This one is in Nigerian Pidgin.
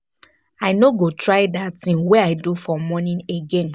I no go try dat thing wey I do for morning again